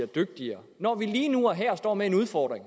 dygtigere når vi lige nu og her står med en udfordring